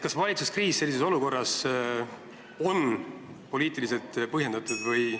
Kas valitsuskriis on sellises olukorras poliitiliselt põhjendatud?